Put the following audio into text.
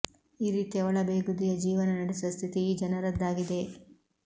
ಈ ರೀತಿಯ ಒಳ ಬೇಗುದಿಯ ಜೀವನ ನಡೆಸುವ ಸ್ಥಿತಿ ಈ ಜನರದ್ದಾಗಿದೆ